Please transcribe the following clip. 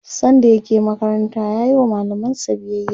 sanda yake makaranta yayi wa mallamansa biyaya